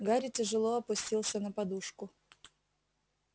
гарри тяжело опустился на подушку